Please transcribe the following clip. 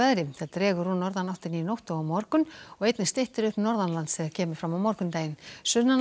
dregur úr norðanáttinni í nótt og á morgun og einnig styttir upp norðanlands þegar kemur fram á morgundaginn